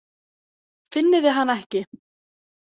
Finnið þið hana ekki?